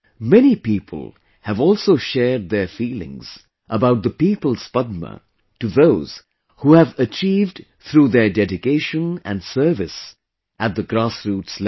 Many people have also shared their feelings about People's Padma to those who have achieved through their dedication and service at the grassroots level